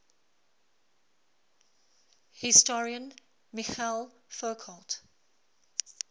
historian michel foucault